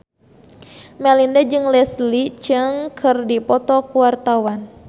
Melinda jeung Leslie Cheung keur dipoto ku wartawan